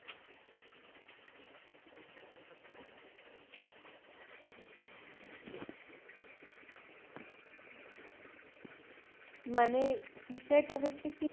মানে বিষয়টা হইছে কি